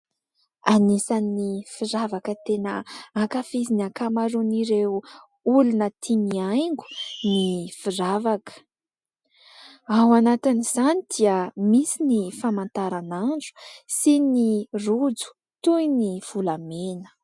Anisan'ny firavaka tena ankafizin'ny ankamaron'ireo olona tia mihaingo ny firavaka. Ao anatin'izany dia misy ny famataranandro sy ny rojo toy ny volamena.